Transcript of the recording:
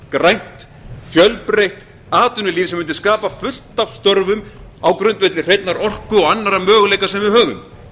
grænt fjölbreytt atvinnulíf sem mundi skapa fullt af störfum á grundvelli hreinnar orku og annarra möguleika sem við höfum